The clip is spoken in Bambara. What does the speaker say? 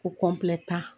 Ko